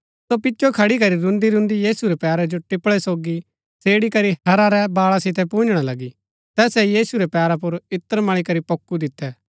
सो पिचो खड़ी करी रून्‍दीरून्‍दी यीशु रै पैरा जो टिपळै सोगी सेड़ी करी हैरा रै बाळा सितै पुन्जणा लगी तैसै यीशु रै पैरा पुर इत्र मळी करी पोक्कु दितै